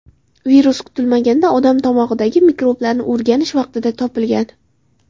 Virus kutilmaganda odam tomog‘idagi mikroblarni o‘rganish vaqtida topilgan.